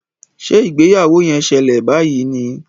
Ṣe ìgbéyàwó yén ṣẹlẹ bayí ní?